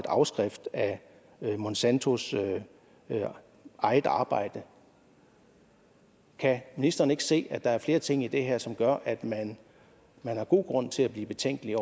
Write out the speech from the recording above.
afskrift af monsantos eget arbejde kan ministeren ikke se at der er flere ting i det her som gør at man man har god grund til at blive betænkelig